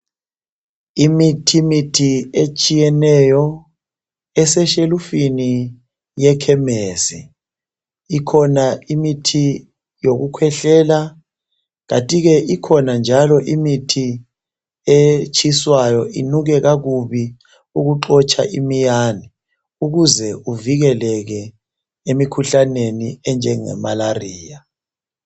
Imithimithi etshiyeneyo, eseshelufini yekhemesi. Ikhona imithi yokukhwehlela. Kunti ke, ikhona imithi etshiswayo, inuke kubi. Ukuze uvikeleke emikhuhlaneni enjengemalaria.